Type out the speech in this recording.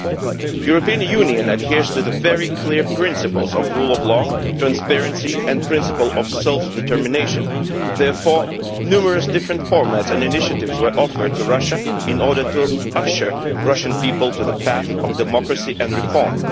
it. The European Union adheres to the very clear principles of the rule of law, transparency and self determination, therefore numerous different formats and initiatives were offered to Russia in order to usher the Russian people to the path of democracy and reform.